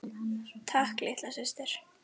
Takk litla systir.